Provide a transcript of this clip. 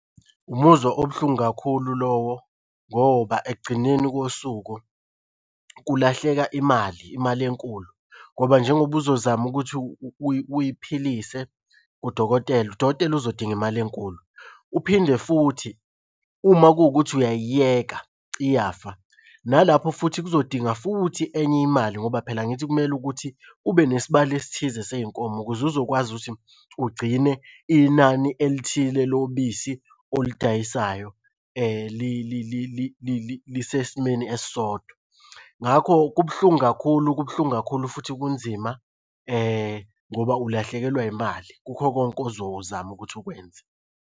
Umuzwa obuhlungu kakhulu lowo ngoba ekugcineni kosuku kulahleka imali imali enkulu ngoba njengoba uzozama ukuthi uy'philise kudokotela, udokotela uzodinga imali enkulu. Uphinde futhi uma kuwukuthi uyayiyeka, iyafa. Nalapho futhi kuzodinga futhi enye imali ngoba phela angithi kumele ukuthi kube nesibalo esithize sey'nkomo ukuze uzokwazi ukuthi ugcine inani elithile lobisi olidayisayo lisesimeni esisodwa. Ngakho kubuhlungu kakhulu kubuhlungu kakhulu futhi kunzima ngoba ulahlekelwa yimali kukho konke ozozama ukuthi ukwenze.